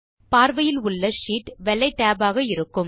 பார்வையில் உள்ள ஷீட் வெள்ளை tab ஆக இருக்கும்